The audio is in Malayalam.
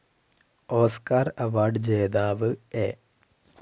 ഓസ്കാർ അവാർഡ്‌ ജേതാവ് എ.